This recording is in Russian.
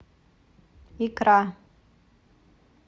икра